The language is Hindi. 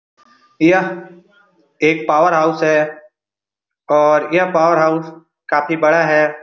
यह एक पावर हाउस है और यह पावर हाउस काफी बड़ा है।